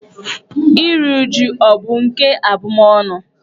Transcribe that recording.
Iri újú ọ̀ bụ nke abụmọnụ?